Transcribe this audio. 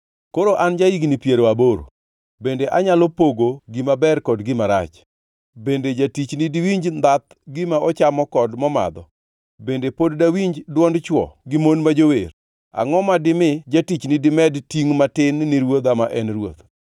Koro an ja-higni piero aboro. Bende anyalo pogo gima ber kod gima rach? Bende jatichni diwinj ndhath gima ochamo kod momadho? Bende pod dawinj dwond chwo gi mon ma jower? Angʼo ma dimi jatichni dimed tingʼ matin ni ruodha ma en ruoth?